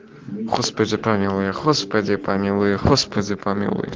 господи помилуй господи помилуй господи помилуй